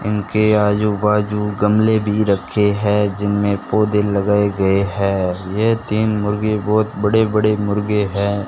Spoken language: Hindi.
इनके आजू बाजू गमले भी रखे हैं जिनमें पौधे लगाए गए हैं यह तीन मुर्गे बहुत बड़े बड़े मुर्गे हैं।